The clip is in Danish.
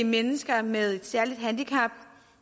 mennesker med særlige handicap